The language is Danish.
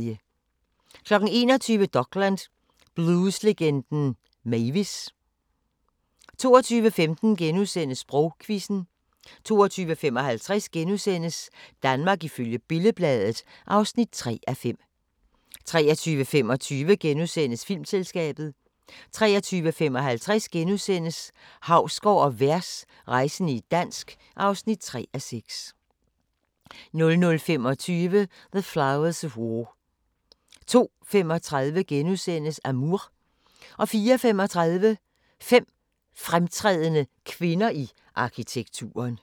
21:00: Dokland: Blueslegenden Mavis! 22:15: Sprogquizzen * 22:55: Danmark ifølge Billed-Bladet (3:5)* 23:25: Filmselskabet * 23:55: Hausgaard & Vers – rejsende i dansk (3:6)* 00:25: The Flowers of War 02:35: Amour * 04:35: Fem fremtrædende kvinder i arkitekturen